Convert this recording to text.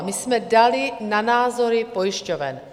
A my jsme dali na názory pojišťoven.